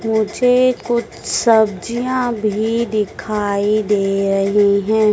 मुझे कुछ सब्जियां भी दिखाई दे रही हैं।